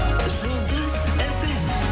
жұлдыз фм